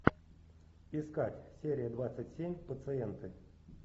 искать серия двадцать семь пациенты